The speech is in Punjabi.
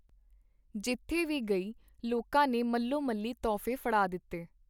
ਜਿੱਥੇ ਵੀ ਗਈ ਲੋਕਾਂ ਨੇ ਮੱਲਵੋਮੱਲੀ ਤੋਹਫ਼ੇ ਫੜਾ ਦਿੱਤੇ.